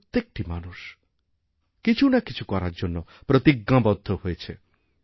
প্রত্যেকটি মানুষ কিছু না কিছু করার জন্যপ্রতিজ্ঞাবদ্ধ হয়েছে